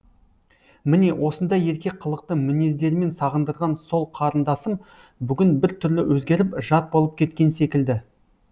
міне осындай ерке қылықты мінездерімен сағындырған сол қарындасым бүгін бір түрлі өзгеріп жат болып кеткен секілді